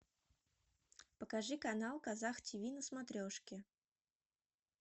покажи канал казах тв на смотрешке